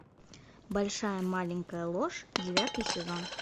большая маленькая ложь девятый сезон